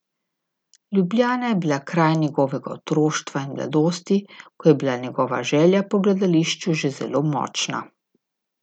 Ljubljana je bila kraj njegovega otroštva in mladosti, ko je bila njegova želja po gledališču že zelo močna.